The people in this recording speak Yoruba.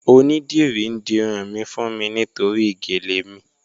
Onídírí n dírun mi fún mi nítorí géle mi.